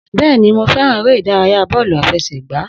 Bẹ́ẹ̀ni, mo fẹ́ràn eré ìdárayá bọ́ọ̀lù àfẹsẹ̀gbá